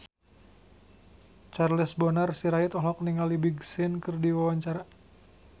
Charles Bonar Sirait olohok ningali Big Sean keur diwawancara